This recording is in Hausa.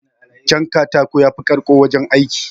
Jan katako yafi karko wajen aiki